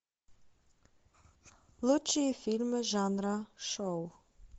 лучшие фильмы жанра шоу